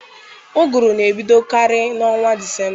Ụgụrụ na-ebidokarị n'ọnwa Disemba.